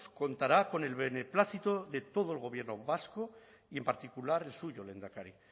contará con el beneplácito de todo el gobierno vasco y en particular el suyo lehendakari